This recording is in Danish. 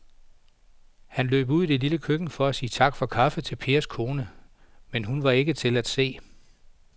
Han løb ud i det lille køkken for at sige tak for kaffe til Pers kone, men hun var ikke til at se.